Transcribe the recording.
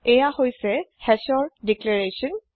এইয়া Hashৰ দিল্ৰেৰেস্যন